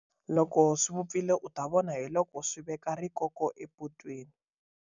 Loko swi vupfile u ta vona hi loko swi veka rikoko epotweni.